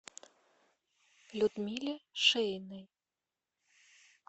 людмиле шеиной